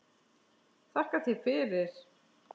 Þakka þér fyrir.